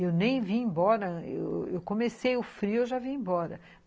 Eu nem vim embora, eu comecei o frio, eu já vim embora.